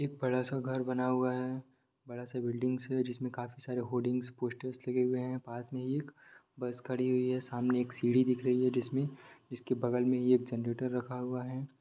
एक बड़ा सा घर बना हुआ है बड़ा सा बिल्डिंग है जिसमें काफी सारे होर्डिंग्स पोस्टर लगे हुए हैं पास में एक बस खड़ी हुई है सामने एक सीढ़ी दिख रही है जिसमें जिसके बगल में एक जनरेटर रखा हुआ है।